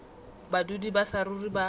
ba badudi ba saruri ba